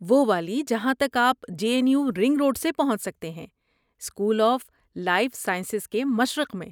وہ والی جہاں تک آپ J N U ring road سے پہنچ سکتے ہیں، اسکول آف لائف سائنسز کے مشرق میں